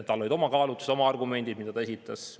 Tal olid oma kaalutlused, oma argumendid, mida ta esitas.